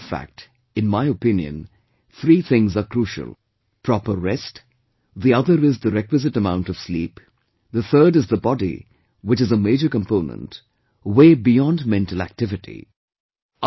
As a matter of fact, in my opinion, three things are crucial proper rest, the other is the requisite amount of sleep, the third is the body, which is a major component, way beyond mental activity